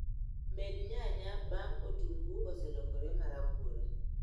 Med nyanya bang' otungu oselokore marabuora